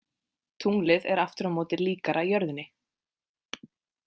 Tunglið er aftur á móti líkara jörðinni.